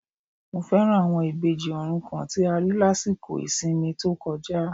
Mo fẹ́ràn àwọn Ìbejì òrukàn tí a rí lásìkò ìsinmi tí ó kọjá